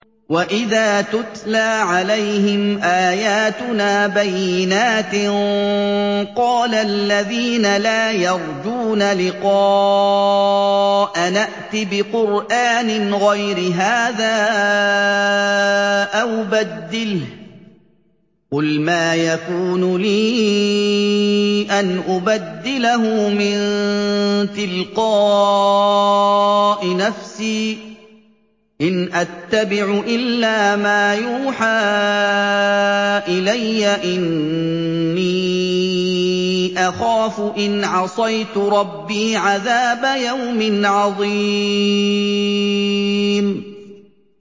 وَإِذَا تُتْلَىٰ عَلَيْهِمْ آيَاتُنَا بَيِّنَاتٍ ۙ قَالَ الَّذِينَ لَا يَرْجُونَ لِقَاءَنَا ائْتِ بِقُرْآنٍ غَيْرِ هَٰذَا أَوْ بَدِّلْهُ ۚ قُلْ مَا يَكُونُ لِي أَنْ أُبَدِّلَهُ مِن تِلْقَاءِ نَفْسِي ۖ إِنْ أَتَّبِعُ إِلَّا مَا يُوحَىٰ إِلَيَّ ۖ إِنِّي أَخَافُ إِنْ عَصَيْتُ رَبِّي عَذَابَ يَوْمٍ عَظِيمٍ